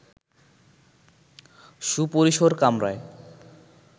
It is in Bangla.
সুপরিসর কামরায়